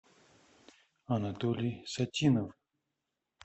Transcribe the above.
анатолий сатинов